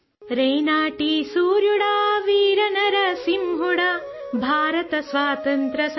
Telugu sound clip 27 second Urdu ترجمہ